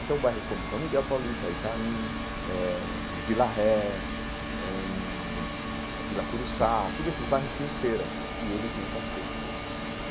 Então, bairros como São Miguel Paulista, Itaim eh, Vila Ré eh hum, Vila Curuçá, todos esses bairros tinham feiras e eles iam para as feiras.